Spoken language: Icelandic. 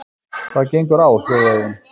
Hvað gengur á hljóðaði hún.